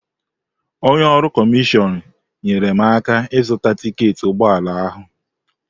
Onye ọrụ kọmishọn nyeere m aka ịzụta tiketi ụgbọala ahụ.